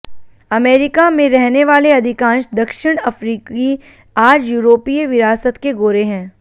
America में रहने वाले अधिकांश दक्षिण अफ़्रीकी आज यूरोपीय विरासत के गोरे हैं